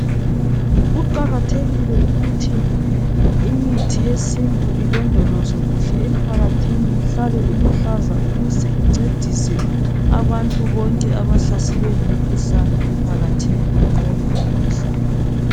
Kuqakathekile ukuthi imithi yesintu ilondolozwe kuhle emphakathini ihlale iluhlaza ukuze incedise abantu bonke abahlaselwe yimikhuhlane emphakathini banqobe imikhuhlane